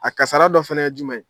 A kasara dɔ fɛnɛ ye jumɛn ye?